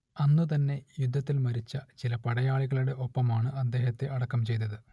അന്നു തന്നെ യുദ്ധത്തിൽ മരിച്ച ചില പടയാളികളുടെ ഒപ്പമാണ് അദ്ദേഹത്തെ അടക്കം ചെയ്തത്